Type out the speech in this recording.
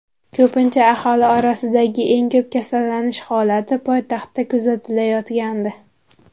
Ko‘pincha aholi orasidagi eng ko‘p kasallanish holati poytaxtda kuzatilayotgandi.